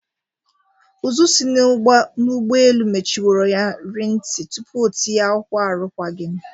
Ụzụ si n'ụgbọelu mechinworo ya ri nti tupu o tinye akwụkwọ arukwagim.